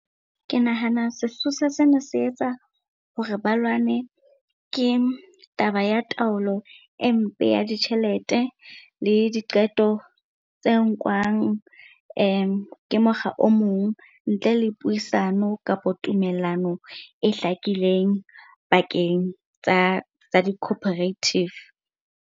Ke nahana sesosa sena se etsa hore ba lwane, ke taba ya taolo e mpe ya ditjhelete le diqeto tse nkwang ke mokga o mong ntle le puisano kapo tumellano e hlakileng pakeng tsa di-cooperative.